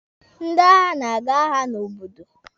Ndị agha na-aga agha n'obodo.